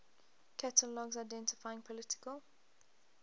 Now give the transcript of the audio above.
catalogs identifying political